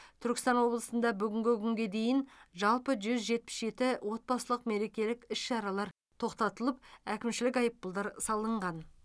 түркістан облысында бүгінгі күнге дейін жалпы жүз жетпіс жеті отбасылық мерекелік іс шаралар тоқтатылып әкімшілік айыппұлдар салынған